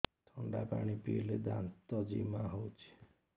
ଥଣ୍ଡା ପାଣି ପିଇଲେ ଦାନ୍ତ ଜିମା ହଉଚି